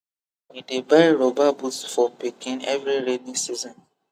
we dey buy rubber boot for pikin every rainy season